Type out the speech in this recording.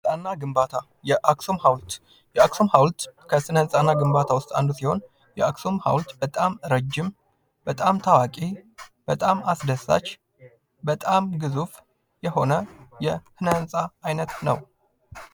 ስነ -ህንፃና ግንባታ የአክሱም ሐውልት ከስነ ህንፃ እና ግንባታ ውስጥ አንዱ ሲሆን የአክሱም ሐውልት በጣም ረጅም፤ በጣም ታዋቂ፤ በጣም አስደሳች፤ በጣም ግዙፍ የሆነው የስነ -ህንፃ አይነት ነው።